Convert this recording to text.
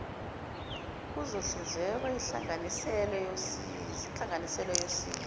kuzohlinzekwa inhlanganisela yosizo